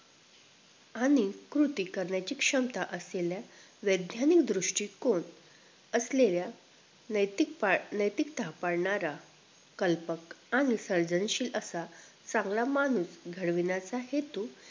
आणि कृती करण्याची क्षमता असलेल्या वैद्यानिक दृष्टीकोन असलेल्या नैतिक प नैतिकता पाडणार कल्पक आणि सर्जनशील असा चांगला माणूस घडविण्याचा हेतू